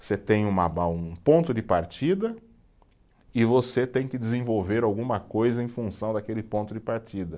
Você tem um, um ponto de partida e você tem que desenvolver alguma coisa em função daquele ponto de partida.